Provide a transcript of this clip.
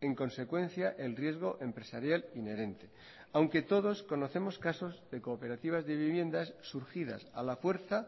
en consecuencia el riesgo empresarial inherente aunque todos conocemos casos de cooperativas de viviendas surgidas a la fuerza